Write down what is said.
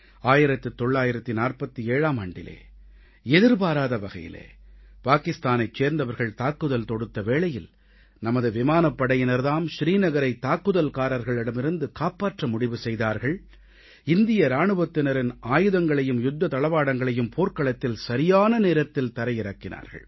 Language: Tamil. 1947ஆம் ஆண்டிலே எதிர்பாராத வகையிலே பாகிஸ்தானைச் சேர்ந்தவர்கள் தாக்குதல் தொடுத்த வேளையில் நமது விமானப்படையினர் தாம் ஸ்ரீ நகரை தாக்குதல்காரர்களிடமிருந்து காப்பாற்ற முடிவு செய்தார்கள் இந்திய இராணுவத்தினரின் ஆயுதங்களையும் யுத்த தளவாடங்களையும் போர்க்களத்தில் சரியான நேரத்தில் தரை இறக்கினார்கள்